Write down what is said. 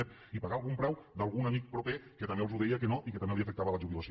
ep i pagar algun preu d’algun amic proper que també els deia que no i que també li afectava la jubilació